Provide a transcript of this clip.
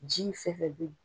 Ji in fɛnɛ bɛ yen.